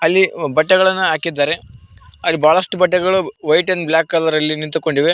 ಇಲ್ಲಿ ಬಟ್ಟೆಗಳನ್ನು ಹಾಕಿದ್ದಾರೆ ಅಲ್ಲಿ ಬಹಳಷ್ಟು ಬಟ್ಟೆಗಳು ವೈಟ್ ಅಂಡ್ ಬ್ಲಾಕ್ ಕಲರ್ ನಲ್ಲಿ ನಿಂತುಕೊಂಡಿವೆ.